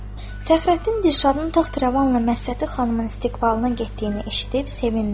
Fəxrəddin Dirşadın taxravanla Mərhəti xanımın istiqbalına getdiyini eşidib sevindi.